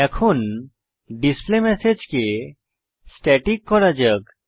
এখন ডিসপ্লেমেসেজ কে স্ট্যাটিক করা যাক